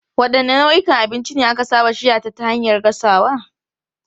Wadanne nau'ikan abinci ne aka saba shirya ta hanyar gasawa?